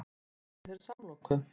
Má bjóða þér samloku?